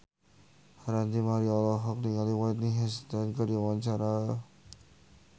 Ranty Maria olohok ningali Whitney Houston keur diwawancara